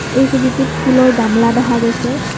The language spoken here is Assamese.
এই ছবিটোত ফুলৰ গামলা দেখা গৈছে।